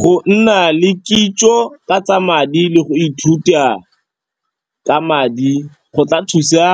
Go nna le kitso ka tsa madi le go ithuta ka madi go tla thusa